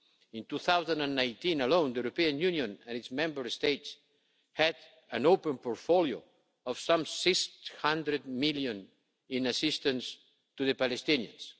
In 2019 alone, the European Union and its Member States had an open portfolio of some 600 million in assistance to the Palestinians.